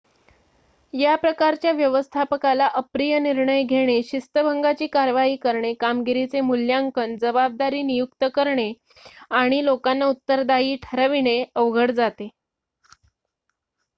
या प्रकारच्या व्यवस्थापकाला अप्रिय निर्णय घेणे शिस्तभंगाची कारवाई करणे कामगिरीचे मूल्यांकन जबाबदारी नियुक्त करणे आणि लोकांना उत्तरदायी ठरविणे अवघड जाते